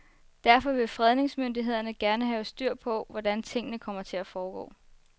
Derfor vil fredningsmyndighederne gerne have styr på, hvordan tingene kommer til at foregå.